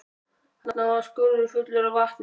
Þarna var skurður fullur af vatni.